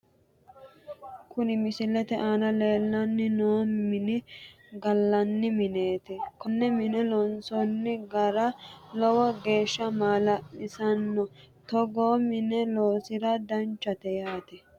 Kuni missilete aana leellanni noo miini gallanni mineeti konne mine loonsoonni gara lowo geeshsha maala'lisanno togoo mine loosira danchate yaate